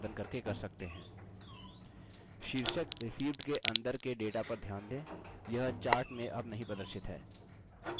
शीर्षक received के अंदर के data पर ध्यान दें यह chart में अब नहीं प्रदर्शित है